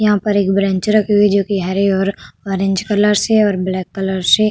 यहां पर एक ब्रेंच रखी हुई है जोकि हरी और ऑरेंज कलर से और ब्लैक कलर से --